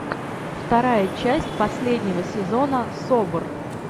вторая часть последнего сезона собр